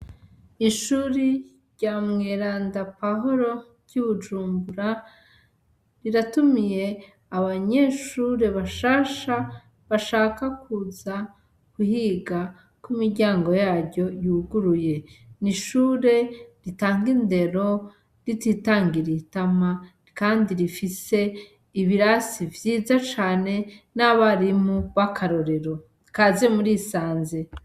Ishuri rya mweranda pawuro ry'ibujumbura riratumiye abanyeshure bashasha bashaka kuza kuhiga, ko imiryango yaryo yuguruye, n'ishure ritanga indero rititangiriye itama, kandi rifise ibirasi vyiza cane, n'abarimu b'akarorero, kaze murisanze.